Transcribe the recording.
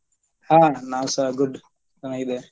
ಹಾ ನಾವ್ಸ good ಚೆನ್ನಾಗಿದ್ದೆನ್.